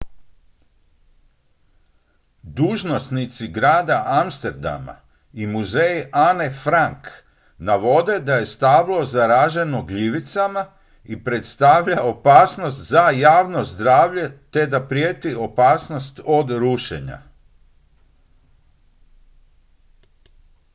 dužnosnici grada amsterdama i muzej anne frank navode da je stablo zaraženo gljivicama i predstavlja opasnost za javno zdravlje te da prijeti opasnost od rušenja